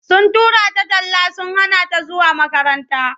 Sun tura ta talla sun hana ta zuwa makaranta.